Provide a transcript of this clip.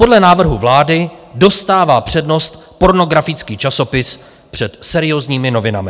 Podle návrhu vlády dostává přednost pornografický časopis před seriózními novinami.